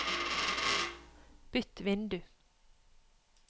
bytt vindu